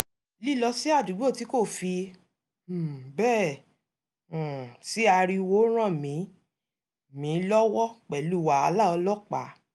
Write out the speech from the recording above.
lílọ sí àdúgbò tí kò fi um bẹ́ẹ̀ um sí ariwo ràn mí mí lọ́wọ́ pẹ̀lú wàhálà ọlọ́pàá